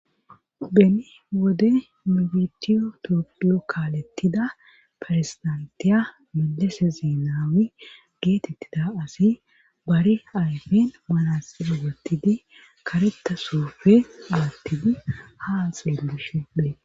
beni wode mibidiyo to lokalettida ferstantiya milese zinaami geetettida asi bari ayfen malasirogetidi kareta soofe alattidi haa xellishe des